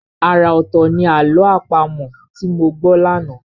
Ara ọ̀tọ̀ ní àlọ́ àpamọ̀ tí mo gbọ́ lánàá.